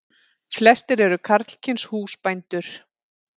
Flestir eru karlkyns húsbændur.